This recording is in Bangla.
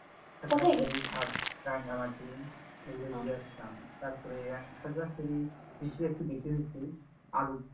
হাজার টোরি সাজটা নামাজী এগুলো ঘুরে আসলাম তারপরে ইরানখাঁকাশরীফ এগুলো একটু বেশি ঘুরছি আ